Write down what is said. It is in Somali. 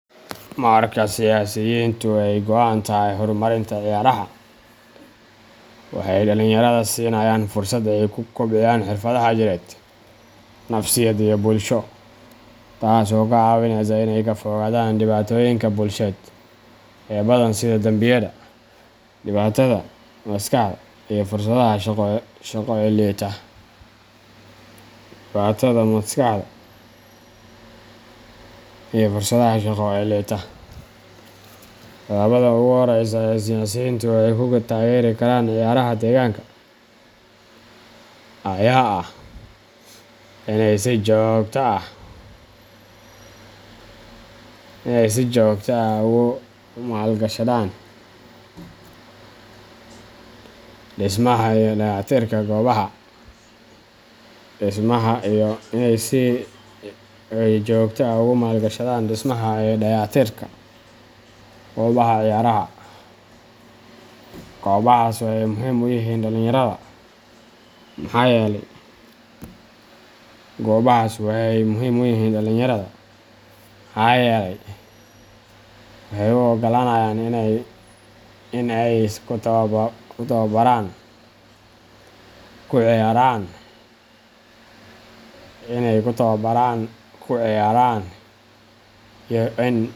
Marka siyaasiyiintu ay ka go'an tahay horumarinta ciyaaraha, waxay dhalinyarada siinayaan fursad ay ku kobciyaan xirfadaha jireed, nafsiyadeed, iyo bulsho, taas oo ka caawineysa inay ka fogaadaan dhibaatooyinka bulsheed ee badan sida dambiyada, dhibaatada maskaxda, iyo fursadaha shaqo ee liita. Tallaabada ugu horeysa ee siyaasiyiintu ay ku taageeri karaan ciyaaraha deegaanka ayaa ah in ay si joogto ah ugu maalgashadaan dhismaha iyo dayactirka goobaha ciyaaraha. Goobahaas waxay muhiim u yihiin dhalinyarada, maxaa yeelay waxay u oggolaanayaan in ay ku tababaraan, ku ciyaaraan, iyo in.